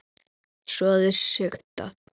Soðið sigtað.